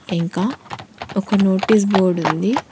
ఇంకా ఒక notice board ఉంది.